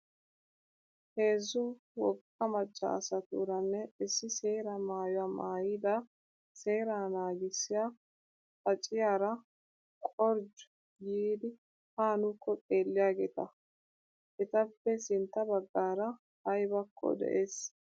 Heezzu wogga macca asatuuranne issi seeraa maayyuwaa maayyida seeraa naagissiyaa xaaciyaara qorjju giidi ha nuukko xeelliyaageeta. Etappe sintta baggarakka ayibakko des.